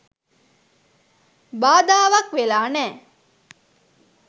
බාධාවක් වෙලා නෑ.